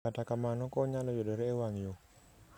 Kata kamano, kony nyalo yudore e wang' yo